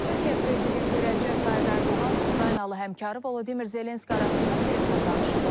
Türkiyə prezidenti Rəcəb Tayyib Ərdoğanla Ukraynalı həmkarı Vladimir Zelenski arasında telefon danışığı olub.